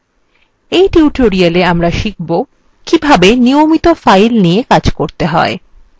in tutorialwe আমরা শিখব কিভাবে নিয়মিত files নিয়ে কাজ করতে হয়